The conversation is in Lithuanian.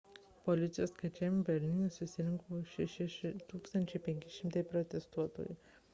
policijos skaičiavimu berlyne susirinko 6500 protestuotojų